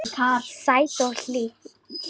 Sæt og hlý.